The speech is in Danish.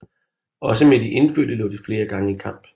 Også med de indfødte lå de flere gange i kamp